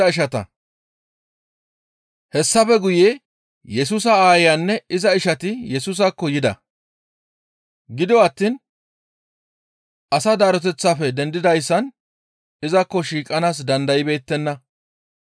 Hessafe guye Yesusa aayanne iza ishati Yesusaakko yida; gido attiin asaa daroteththafe dendidayssan izakko shiiqanaas dandaybeettenna.